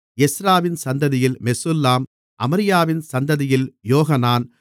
எஸ்றாவின் சந்ததியில் மெசுல்லாம் அமரியாவின் சந்ததியில் யோகனான்